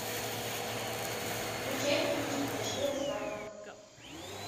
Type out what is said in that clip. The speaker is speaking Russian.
включай кинчик фальшивая свадьба